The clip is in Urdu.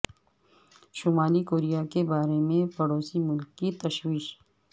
شمالی کوریا کے بارے میں پڑوسی ملک کی تشویش